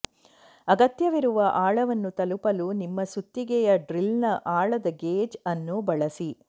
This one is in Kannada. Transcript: ಅಗತ್ಯವಿರುವ ಆಳವನ್ನು ತಲುಪಲು ನಿಮ್ಮ ಸುತ್ತಿಗೆಯ ಡ್ರಿಲ್ನ ಆಳದ ಗೇಜ್ ಅನ್ನು ಬಳಸಿ